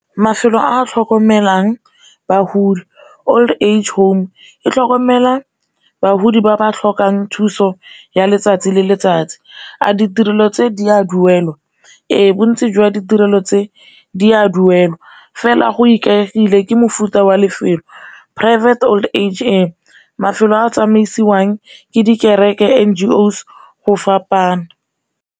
Mafelo a a tlhokomelang bagodi old age home e tlhokomela bagodi ba ba tlhokang thuso ya letsatsi le letsatsi. A ditirelo tse di a duelwa? Re, bontsi jwa ditirelo tse di a duelwa, fela go ikaegile ka mofuta wa lefelo private old age , mafelo a tsamaisiwang ke di kereke, N_G_Os go fapana.